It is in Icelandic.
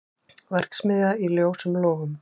Verksmiðja í ljósum logum